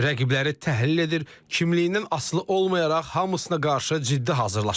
Rəqibləri təhlil edir, kimliyindən asılı olmayaraq hamısına qarşı ciddi hazırlaşırıq.